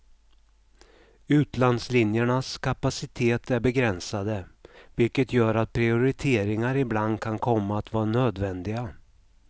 Utlandslinjernas kapacitet är begränsade, vilket gör att prioriteringar ibland kan komma att vara nödvändiga.